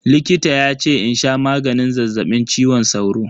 Likita yace in sha maganin zazzaɓin cizon sauro.